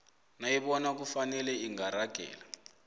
nayibona kufanele ingaragela